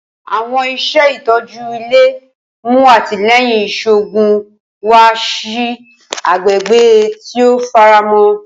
Awọn iṣẹ itọju ile mu atilẹyin iṣoogun wa si agbegbe ti o faramọ.